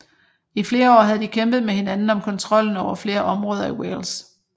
I flere år havde de kæmpet med hinanden om kontrollen over flere områder i Wales